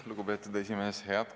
Lugupeetud esimees!